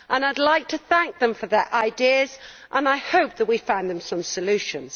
I would like to thank them for their ideas, and I hope that we find them some solutions.